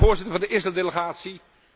Ik ben voorzitter van de Israëldelegatie.